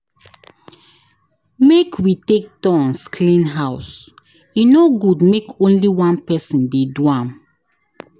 Make we take turns clean house, e no good make only one person dey do am.